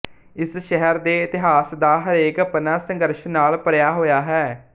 ਇਸ ਸ਼ਹਿਰ ਦੇ ਇਤਿਹਾਸ ਦਾ ਹਰੇਕ ਪੰਨਾ ਸੰਘਰਸ਼ ਨਾਲ ਭਰਿਆ ਹੋਇਆ ਹੈ